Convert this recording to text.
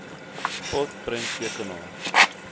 spot prenttekenaar t